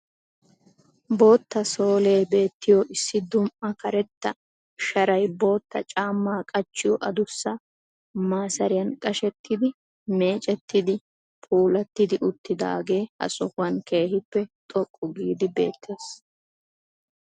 Bootta sooliyee beettiyo issi duumma karetta sharay bootta caamma qachchiyo adussa 'masiriyan' qashettidi, meecettidi puulatti uttidagge ha sohuwaan keehippe xoqqu giidi beettes.